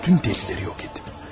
Bütün dəlilləri yox etdim.